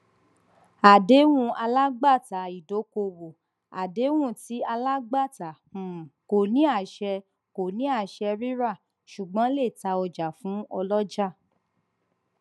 àdéhùn alágbàtàìdókòwò àdéhùn tí alágbàtà um kò ní àṣẹ kò ní àṣẹ ríra ṣùgbọn lè ta ọjà fún ọlọjà